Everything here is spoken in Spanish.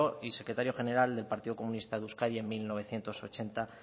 y secretario general del partido comunista de euskadi en mil novecientos ochenta